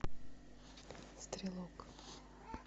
стрелок